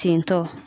Tentɔ